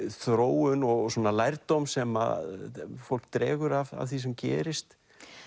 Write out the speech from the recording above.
þróun og lærdóm sem fólk dregur af því sem gerist